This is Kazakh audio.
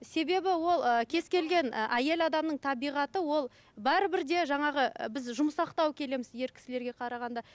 себебі ол ы кез келген ы әйел адамның табиғаты ол бәрібір де жаңағы ы біз жұмсақтау келеміз ер кісілерге қарағанда